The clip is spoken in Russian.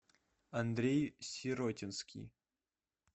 андрей сиротинский